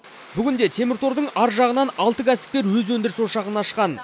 бүгінде темір тордың ар жағынан алты кәсіпкер өз өндіріс ошағын ашқан